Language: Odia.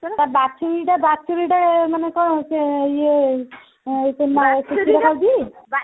ତା ବାଛୁରିଟା ମାନେ ବାଛୁରିଟା ମାନେ କଣ ସିଏ ଇଏ